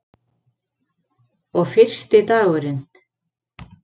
Og fyrsti dagurinn.